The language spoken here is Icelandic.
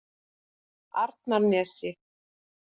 Arnarnesi